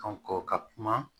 ka kuma